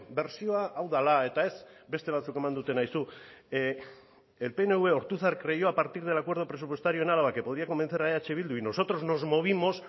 bertsioa hau dela eta ez beste batzuk eman dutena aizu el pnv ortuzar creyó a partir del acuerdo presupuestario en álava que podría convencer a eh bildu y nosotros nos movimos